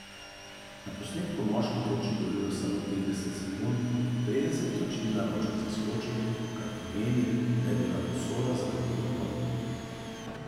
Na posnetku moški toči gorivo samo trideset sekund, preden se točilna ročka zaskoči, kar pomeni, da je bila posoda za gorivo polna.